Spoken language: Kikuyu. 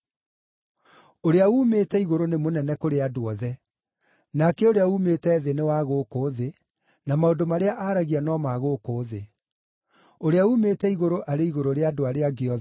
“Ũrĩa uumĩte igũrũ nĩ mũnene kũrĩ andũ othe; nake ũrĩa uumĩte thĩ nĩ wa gũkũ thĩ, na maũndũ marĩa aragia no ma gũkũ thĩ. Ũrĩa uumĩte igũrũ arĩ igũrũ rĩa andũ arĩa angĩ othe.